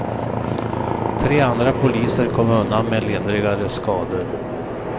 Tre andra poliser kom undan med lindrigare skador.